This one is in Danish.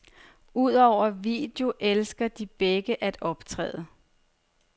Udover video elsker de begge at optræde.